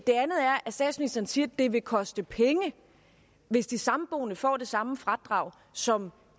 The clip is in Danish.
statsministeren siger at det vil koste penge hvis de samboende får det samme fradrag som